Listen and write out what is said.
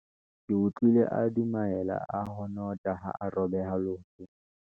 ke utlwile a dumaela a honotha ha a robeha leoto